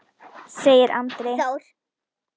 segir Andri.